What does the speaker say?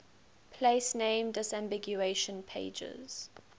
place name disambiguation pages